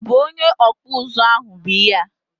obụ onye ọkpụ ụzụ ahụ bụ ihe a?